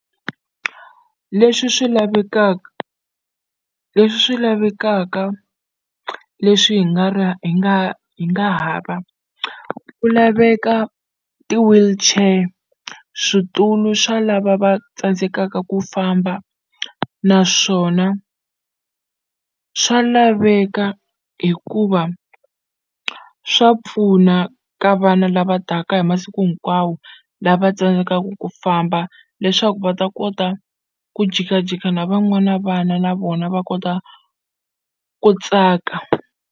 Leswi swi lavekaka leswi swi lavekaka leswi hi nga ra hi nga hi nga ha va ku laveka ti-wheelchair switulu swa lava va tsandzekaka ku famba naswona swa laveka hikuva swa pfuna ka vana lava taka hi masiku hinkwawo lava tsandzekaka ku famba leswaku va ta kota ku jikajika na van'wana vana na vona va kota ku tsaka.